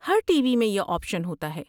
ہر TV میں یہ option ہوتا ہے۔